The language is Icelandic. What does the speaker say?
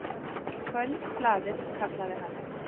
Kvöldblaðið, kallaði hann.